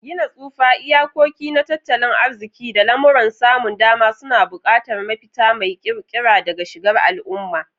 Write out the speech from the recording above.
Gina tsufa, iyakoki na tattalin arziƙi, da lamuran samun dama suna buƙatar mafita mai ƙirƙira da shigar al'umma.